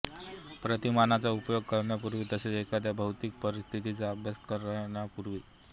प्रतिमानांचा उपयोग करण्यापूर्वी तसेच एखाद्या भौतिक परिस्थितीचा अभ्यास करण्यापूर्वी